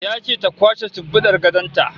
Ya ce ta kwashe shimfidar gadon ta